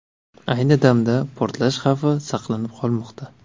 Ayni damda portlash xavfi saqlanib qolmoqda.